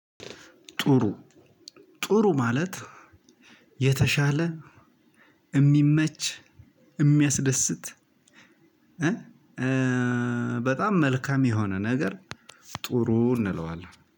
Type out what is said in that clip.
ጥሩ ጥሩ ማለት የተሻለ የሚመች የሚያስደስት በጣም መልካም የሆነ ነገር ጥሩ እንለዋለን።